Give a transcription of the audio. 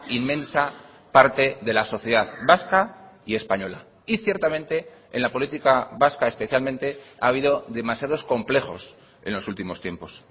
inmensa parte de la sociedad vasca y española y ciertamente en la política vasca especialmente ha habido demasiados complejos en los últimos tiempos